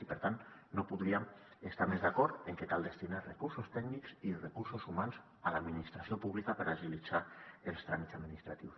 i per tant no podríem estar més d’acord en que cal destinar recursos tècnics i recursos humans a l’administració pública per agilitzar els tràmits administratius